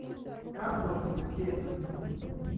Ga kwo tupchet nyu.